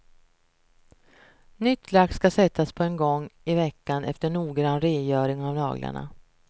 Nytt lack ska sättas på en gång i veckan efter noggrann rengöring av naglarna.